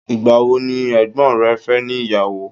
igbawo ni ègbón rẹ fe ni iyawo